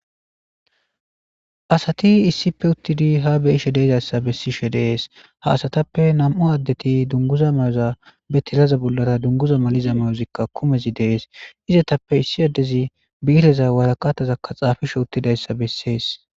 Asati issipe uttidi ha beyishe deezassa bessishe dees haasatappe nam7u addeti dunguza mayoza be tilaza bollara dunguza maliza mayozikka kumezi dees izetappe issi addezi biireza waraqatazakka xaafishe uttidayssa bessees.